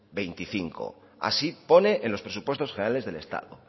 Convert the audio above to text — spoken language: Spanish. veinticinco así pone en los presupuestos generales del estado